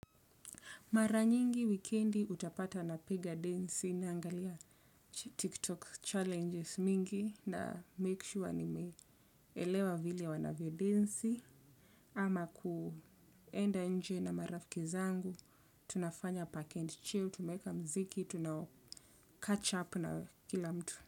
Mara nyingi wikendi utapata napiga densi naangalia tiktok challenges mingi na make sure nimeelewa vile wanavyo densi ama kuenda nje na marafiki zangu, tunafanya 'package chill', tumeweka mziki, tunaka 'catch up' na kila mtu.